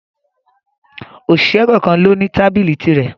Òṣìṣẹ́ kọ̀kan lo ní tábìlì tirẹ̀